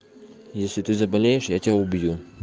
если ты заболеешь я тебя убью